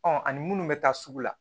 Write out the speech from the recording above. Ɔ ani munnu bɛ taa sugu la